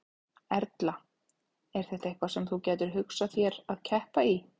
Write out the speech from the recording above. Erla: Er þetta eitthvað sem þú gætir hugsað þér að keppa í?